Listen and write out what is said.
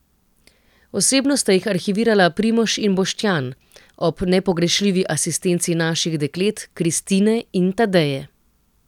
Osebno sta jih arhivirala Primož in Boštjan, ob nepogrešljivi asistenci naših deklet, Kristine in Tadeje.